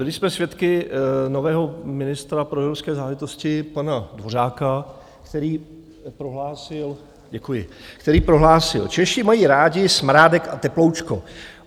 Byli jsme svědky nového ministra pro evropské záležitosti pana Dvořáka, který prohlásil - děkuji, který prohlásil: "Češi mají rádi smrádek a teploučko.